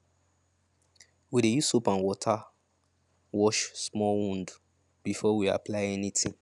we dey use soap and water wash small wound before we apply anything